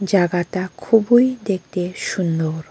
জাগাতা খুবোই দেখতে সুন্দর।